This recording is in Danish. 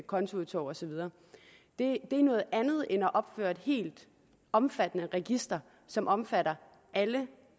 kontoudtog og så videre det er noget andet end at man opretter et helt omfattende register som omfatter alle